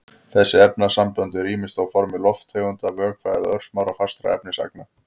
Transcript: Þessi efnasambönd eru ýmist á formi lofttegunda, vökva eða örsmárra fastra efnisagna.